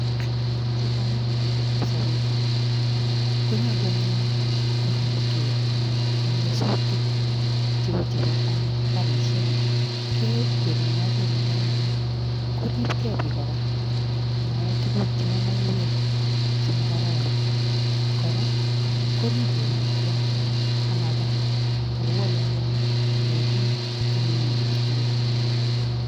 Sikomuch biik koriip sopet konyolu anyun koripkei eng nyasutik cheu chebo kariishek, kekweri eng oret nekararan, koripkei biik kora ama ee tuguk cheu maiywek chemo kararan. Kora, koriip borwekwai amabaa ako walawali biik chemengindos tugul.